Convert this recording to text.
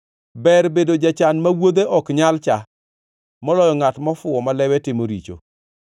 Ber bedo jachan ma wuodhe ok nyal cha, moloyo ngʼat mofuwo ma lewe timo richo.